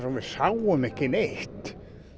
við sáum ekki neitt